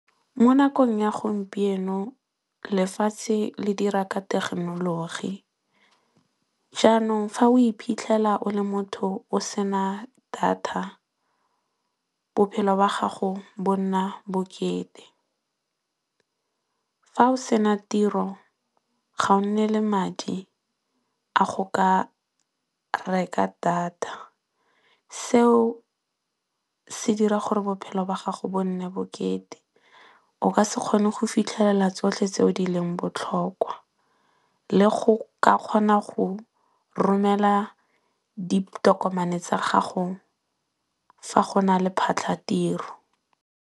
Mo nakong ya gompieno lefatshe le dira ka thekenoloji jaanong fa o iphitlhela o le motho o sena data bophelo ba gago bo nna bokete. Fa o sena tiro ga o nne le madi a go ka reka data seo se dira gore bophelo ba gago bo nne bokete o ka se kgone go fitlhelela tsotlhe tse di leng botlhokwa, le go ka kgona go romela ditokomane tsa gago fa go na le phatlha ya tiro.